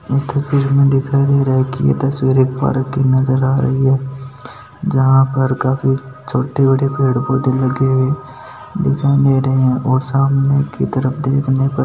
इस तस्वीर में दिखाई दे रहै है की ये तस्वीर एक पार्क की नज़र आ रही है जहां पर काफी छोटी बड़ी पेड़ पौधे लगे हुए दिखाई दे रहै है और सामने के तरफ देखने पर--